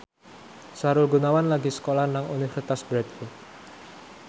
Sahrul Gunawan lagi sekolah nang Universitas Bradford